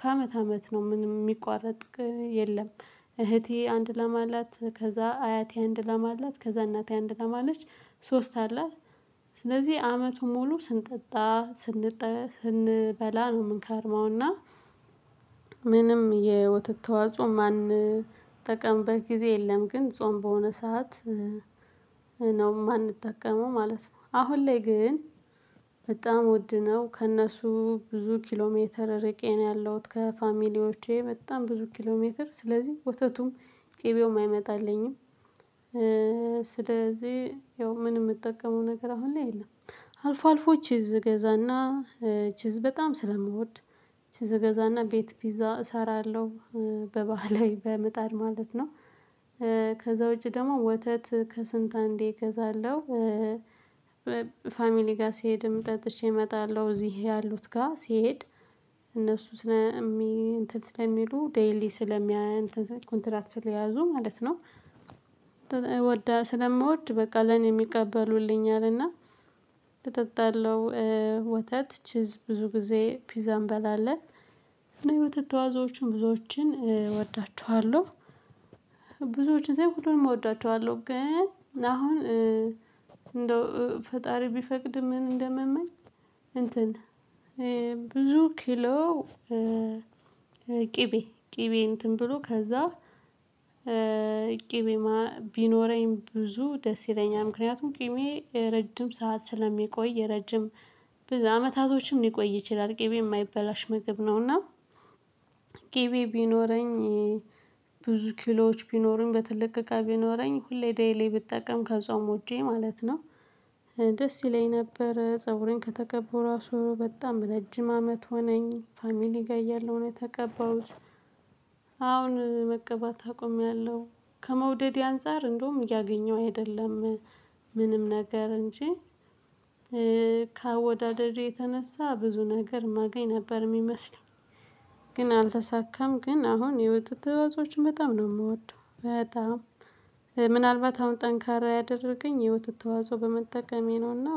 ከአመት አመት ነው ምንም የሚቋረጥ የለም። እህቴ አንድ ለም አላት ከዛ አያቴ አንድ ላም አላት ከዛ እናቴ አንድ ላም አላት ሶስት አለ። ስለዚህ አመቱን ሙሉ ስንጠጣ ስንበላ ነው የምንከርመውና ምንም የወተት ተዋጽኦ የማንጠቀምበት ጊዜ የለም ግን ጾም በሆነ ሰዓት ነው የማንጠቀመው ማለት ነው። አሁን ላይ ግን በጣም ውድ ነው ከእነሱ ብዙ ኪሎ ሜትር እርቄ ነው ያለሁት ከፋሚሊዎቼ በጣም ብዙ ኪሎሜትር ስለዚህ ወተቱም ቅቤውም አይመጣልኝም። ስለዚህ ያው ምንም የምጠቀመው ነገር አሁን ላይ የለም። አልፎ አልፎ ቺዝ እገዛና ቺዝ በጣም ስለምወድ ቺዝ እገዛና ቤት ፒዛ እሰራለሁ። በባህላዊ በምጣድ ማለት ነው። ከዛ ውጪ ደግሞ ወተት ከስንት አንዴ እገዛለሁ። ፋሚሊ ጋር ሲሄድም ጠጥቼ እመጣለሁ እዚህ ያሉት ጋር ሲሄድ እነሱ ስለሚሉ ዴይሊ እንትን ኮንትራት ስለያዙ ማለት ነው። ስለምወድ በቃ ለኔም ይቀበሉልኛል እና እጠጣለሁ ወተት ቺዝ ብዙ ጊዜ ፒዛ እንበላለን። እኔ የወተት ተዋጽኦዎችን ብዙዎችን እወዳቸዋለሁ። ብዙዎችን ሳይሆን ሁሉንም እወዳቸዋለሁ። ግን አሁን እንደው ፈጣሪ ቢፈቅድም ምን እንደምመኝ። እንትን ብዙ ኪሎ ቅቤ ቅቤ እንትን ብሎ ከዛ ቅቤ ቢኖረኝ ብዙ ደስ ይለኛል። ምክንያቱም ቅቤ ረጅም ሰዓት ስለሚቆይ ረጅም ብዙ አመታቶችን ሊቆይ ይችላል ቅቤ የማይበላሽ ምግብ ነውና። ቅቤ ቢኖረኝ ብዙ ኪሎዎች ቢኖሩኝ በትልቅ እቃ ቢኖረኝ ሁሌ ዴይሊ ብጠቀም ከጾም ውጪ ማለት ነው። ደስ ይለኝ ነበር ፀጉሬን ከተቀበባሁ ራሱ በጣም ረጅም አመት ሆነኝ ፋሚሊ ጋር እያለሁ ነው የተቀባሁት። አሁን መቀባት አቁሜያለሁ። ከመውደዴ አንፃር እንደውም እያገኘሁ አይደለም። ምንም ነገር እንጂ ከአወዳደዴ የተነሳ ብዙ ነገር የማገኝ ነበር የሚመስለኝ። ግን አልተሳካም። ግን አሁን የወተት ተዋጽኦዎችን በጣም ነው የምወደው በጣም ምናልባት አሁን ጠንካራ ያደረገኝ የወተት ተዋጽኦ በመጠቀሜ ነውና